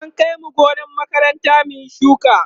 an Kai mu gonar makaranta mun Yi shuka